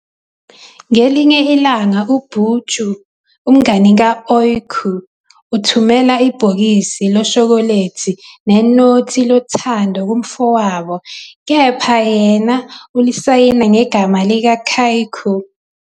Ngelinye ilanga uBurcu, umngani ka-Öykü, uthumela ibhokisi loshokholethi nenothi lothando kumfowabo, kepha yena ulisayina ngegama lika-kykü.